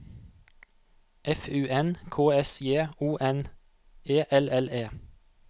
F U N K S J O N E L L E